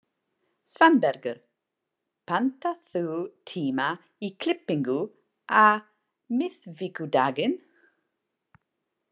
Svanbergur, pantaðu tíma í klippingu á miðvikudaginn.